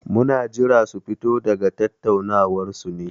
Muna jiran su fito daga tattaunawar su ne.